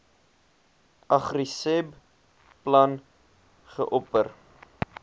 agriseb plan geopper